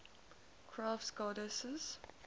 crafts goddesses